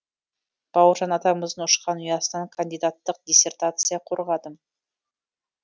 бауыржан атамыздың ұшқан ұясынан кандидаттық диссертация қорғадым